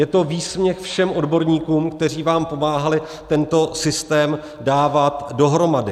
Je to výsměch všem odborníkům, kteří vám pomáhali tento systém dávat dohromady.